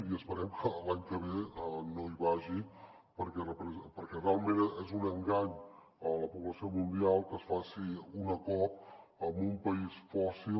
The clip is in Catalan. i esperem que l’any que ve no hi vagi perquè realment és un engany a la població mundial que es faci una cop en un país fòssil